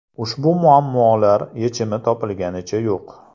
Ushbu muammolar yechimi topilganicha yo‘q.